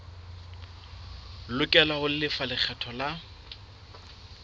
lokela ho lefa lekgetho la